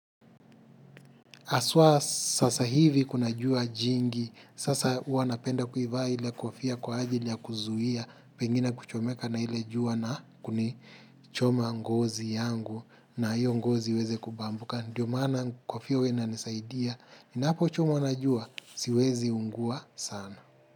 Haswa sasa hivi kuna jua jingi, sasa huwa napenda kuivaa ile kofia kwa ajili ya kuzuia, pengine kuchomeka na ila jua na kuni choma ngozi yangu na hiyo ngozi iweze kubambuka. Ndiyo maana kofia huwa inanisaidia, ninapo chomwa najua, siwezi ungua sana.